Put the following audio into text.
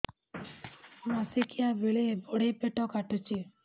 ମାସିକିଆ ବେଳେ ବଡେ ପେଟ କାଟୁଚି